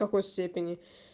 какой степени